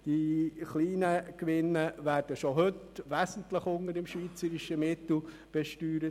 Die kleinen Gewinne werden schon heute wesentlich unter dem schweizerischen Mittel besteuert.